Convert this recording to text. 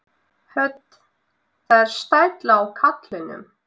Hödd: Það er stæll á kallinum?